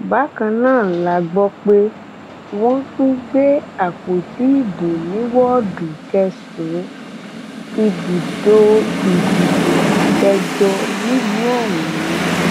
bákan náà la gbọ pé wọn tún gbé àpótí ìbò ní woodu kẹsànán ibùdó ìdìbò kẹjọ nílùú ọhún